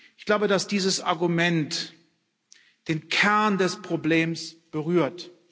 Ich glaube, dass dieses Argument den Kern des Problems berührt.